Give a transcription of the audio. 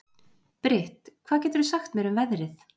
Britt, hvað geturðu sagt mér um veðrið?